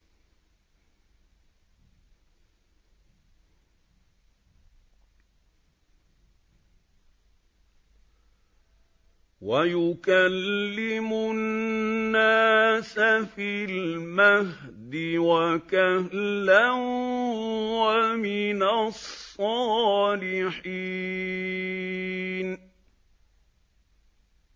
وَيُكَلِّمُ النَّاسَ فِي الْمَهْدِ وَكَهْلًا وَمِنَ الصَّالِحِينَ